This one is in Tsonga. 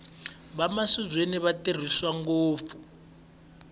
vamavizweni va tirhisiwa ngopfu